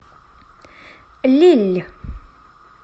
лилль